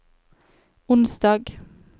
onsdag